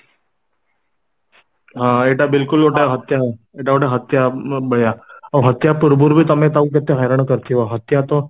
ହଁ ଏଟା ବିଲକୁଲ ଗୋଟେ ହତ୍ୟା ଏଟା ଗୋଟେ ହତ୍ୟା ଭଳିଆ ଆଉ ହତ୍ୟା ପୂର୍ଵରୁବି ତମେ ତାକୁ କେତେ ହଇରାଣ କରିଥିବ ହତ୍ୟା ତ